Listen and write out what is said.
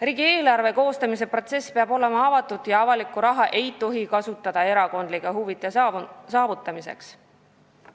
Riigieelarve koostamise protsess peab olema avatud ja avalikku raha ei tohi kasutada erakondlike huvide järgimiseks.